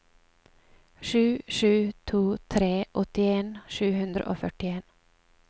sju sju to tre åttien sju hundre og førtien